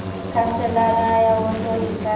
khanselara ya woto e ka